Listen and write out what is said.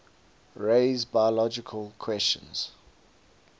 raise biological questions